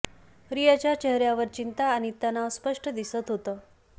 रियाच्या चेहऱ्यावर चिंता आणि तणाव स्पस्ट दिसत होतं